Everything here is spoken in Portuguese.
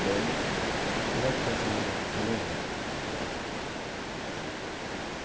Doze. como é que foi essa mudança, você lembra?